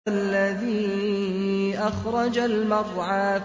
وَالَّذِي أَخْرَجَ الْمَرْعَىٰ